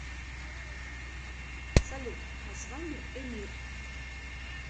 салют название эмир